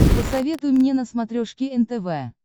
посоветуй мне на смотрешке нтв